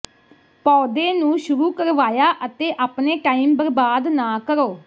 ਪੌਦੇ ਨੂੰ ਸ਼ੁਰੂ ਕਰਵਾਇਆ ਤੇ ਆਪਣੇ ਟਾਈਮ ਬਰਬਾਦ ਨਾ ਕਰੋ